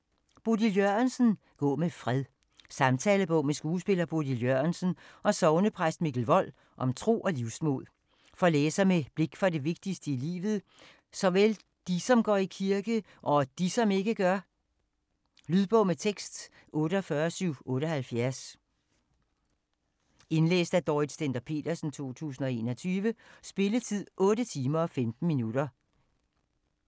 Jørgensen, Bodil: Gå med fred Samtalebog med skuespiller Bodil Jørgensen og sognepræst Mikkel Wold om tro og livsmod. For læsere med blik for det vigtigste i livet, såvel de, som går i kirke, og de, som ikke gør. Lydbog med tekst 48778 Indlæst af Dorrit Stender-Petersen, 2021. Spilletid: 8 timer, 15 minutter.